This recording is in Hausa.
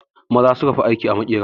Maza su suka fi aiki a makera